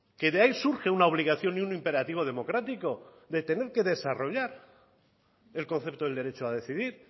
que de ahí surge una obligación y un imperativo democrático de tener que desarrollar el concepto del derecho a decidir